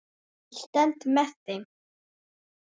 Ég stend með þeim.